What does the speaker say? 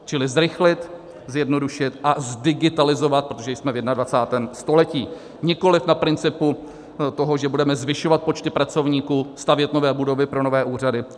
Čili zrychlit, zjednodušit a zdigitalizovat - protože jsme v 21. století - nikoliv na principu toho, že budeme zvyšovat počty pracovníků, stavět nové budovy pro nové úřady.